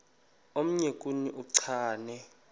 omnye kuni uchane